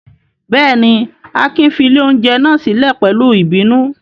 Bẹ́ẹ̀ ni, Akin fi ilé-oúnjẹ náà sílẹ̀ pẹ̀lú ìbínú.